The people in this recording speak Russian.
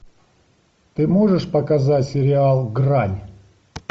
ты можешь показать сериал грань